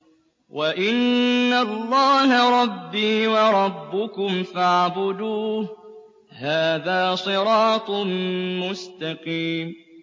وَإِنَّ اللَّهَ رَبِّي وَرَبُّكُمْ فَاعْبُدُوهُ ۚ هَٰذَا صِرَاطٌ مُّسْتَقِيمٌ